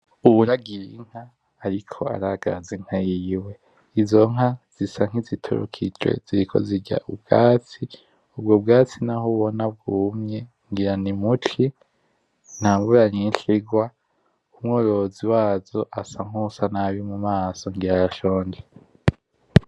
Uwuragiye Inka ariko aragaza Inka yiwe izo nka zisa niziturukije ziriko zirya ubwatsi ubwoko bwatsi naho ubona bwumye ngira ni muci ntamvura nyinshi irwa , umworozi wazo amaze nkuwusa nabi mumaso ngira arashonje.